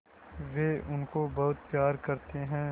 वे उनको बहुत प्यार करते हैं